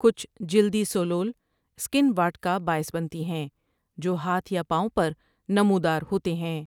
کچھ جلدی ثولول سکن واٹھ کا باعث بنتی ہیں جو ہاتھ یا پاؤں پر نمودار ہوتے ہیں ۔